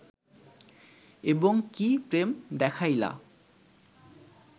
এবং কি প্রেম দেখাইলা